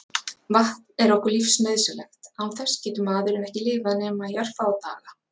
Vatn er okkur lífsnauðsynlegt, án þess getur maðurinn ekki lifað nema í örfáa daga.